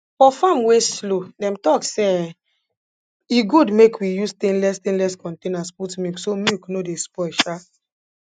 for farm wey slow dem talk say um e good make we use stainless stainless containers put milk so milk no dey spoil um